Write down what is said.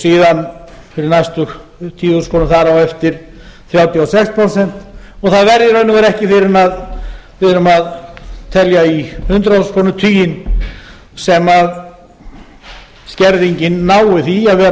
síðan fyrir næstu tíu þúsund krónur þar á eftir þrjátíu og sex prósent og það er í raun og veru ekki fyrr en við erum að telja í hundrað þúsund krónur veginn sem skerðingin nái því að vera